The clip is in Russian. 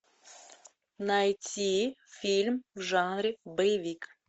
найти фильм в жанре боевик